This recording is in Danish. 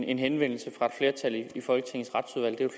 en henvendelse fra